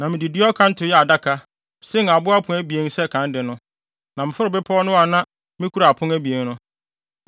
Na mede dua ɔkanto yɛɛ adaka, sen abo apon abien sɛ kan de no, na meforoo bepɔw no a na mikura apon abien no.